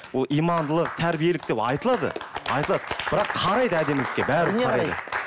ол имандылық тәрбиелік деп айтылады айтылады бірақ қарайды әдемілікке бәрібір қарайды